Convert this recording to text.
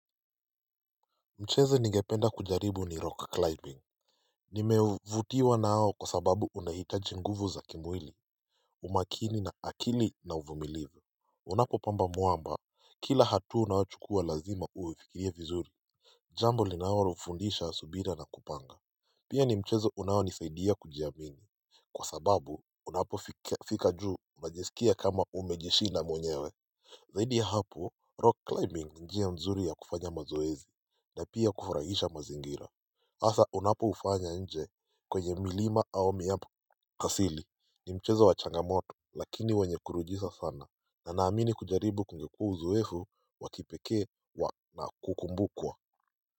Mchezo ningependa kujaribu ni rock climbing Nimevutiwa nao kwa sababu unahitaji nguvu za kimwili umakini na akili na uvumilivu, unapopamba mwamba, kila hatua unayochukua lazima huifikirie vizuri Jambo linalo fundisha subira na kupanga Pia ni mchezo unaonisaidia kujiamini Kwa sababu unapofika juu wajisikia kama umejishinda mwenyewe Zaidi ya hapo rock climbing ni njia mzuri ya kufanya mazoezi na pia kufurahisha mazingira hasa unapoufanya nje kwenye mlima au miapo asili ni mchezo wa changamoto lakini wenye kuridhisha sana na naamini kujaribu kungekua uzoefu wa kipekee wa kukumbukwa.